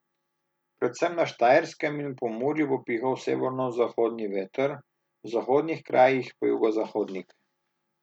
Predvsem na Štajerskem in v Pomurju bo pihal severozahodni veter, v zahodnih krajih pa jugozahodnik.